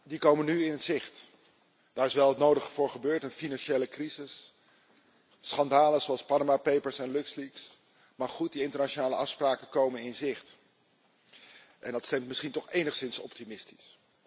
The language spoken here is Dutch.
Die komen nu in zicht. Daar is wel het nodige voor gebeurd een financiële crisis, schandalen zoals Panama Papers en Luxleaks. Maar goed, die internationale afspraken komen in zicht en dat stemt misschien toch enigszins optimistisch.